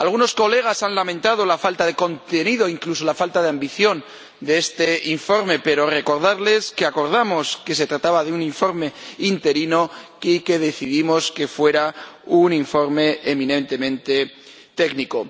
Algunos colegas han lamentado la falta de contenido, incluso la falta de ambición de este informe, pero debo recordarles que acordamos que se trataba de un informe provisional y que decidimos que fuera un informe eminentemente técnico.